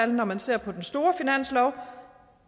når man ser på den store finanslov